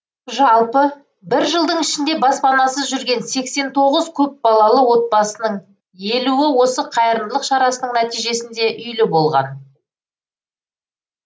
жалпы бір жылдың ішінде баспанасыз жүрген сексен тоғыз көпбалалы отбасының елуі осы қайырымдылық шарасының нәтижесінде үйлі болған